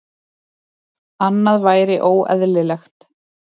Annað væri óeðlilegt.